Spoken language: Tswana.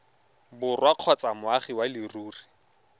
borwa kgotsa moagi wa leruri